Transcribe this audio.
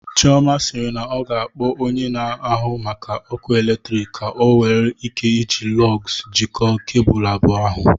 Chioma sịrị na ọ ga-akpọ onye na-ahụ maka ọkụ eletrik ka o nwee ike iji Lọgs jikọọ kebụl abụọ ahụ